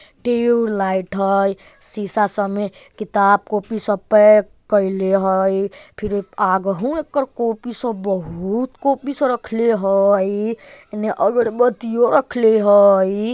ट्यूबलाइट हई शीशा समे किताब कॉपी सब पैक कएले हई फिर आघहु एकर कॉपी सब बहुत कॉपी सारा रखले हई एने अगरबत्तियों रखले हई।